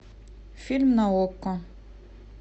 фильм на окко